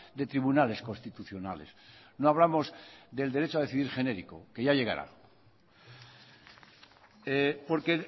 de tribunales constitucionales no hablamos del derecho a decidir genéricos que ya llegará porque